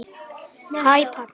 HÆ PABBI!